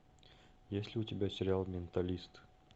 есть ли у тебя сериал менталист